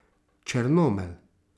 Črnomelj.